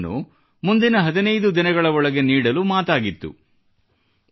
ಉಳಿದ ಹಣವನ್ನು ಮುಂದಿನ ಹದಿನೈದು ದಿನಗಳ ಒಳಗೆ ನೀಡಲು ಮಾತಾಗಿತ್ತು